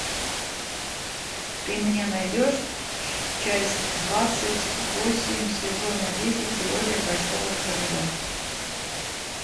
ты мне найдешь часть двадцать восемь сезона десять теория большого взрыва